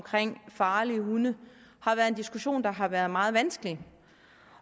farlige hunde har været en diskussion der har været meget vanskelig